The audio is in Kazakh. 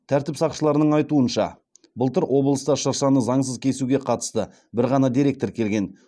тәртіп сақшыларының айтуынша былтыр облыста шыршаны заңсыз кесуге қатысты бір ғана дерек тіркелген